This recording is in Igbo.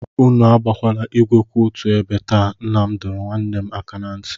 Unu agbala igwe kwụ otu ebe taa, nna m dọrọ nwanne m aka na ntị.